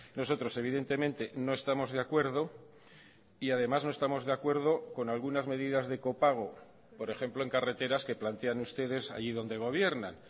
nosotros evidentemente no estamos de acuerdo y además no estamos de acuerdo con algunas medidas de copago por ejemplo en carreteras que plantean ustedes allí donde gobiernan